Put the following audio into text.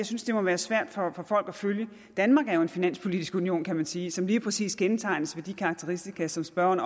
synes jeg må være svært for folk at følge danmark er jo en finanspolitisk union kan man sige som lige præcis er kendetegnet af de karakteristika som spørgeren